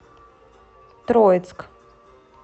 троицк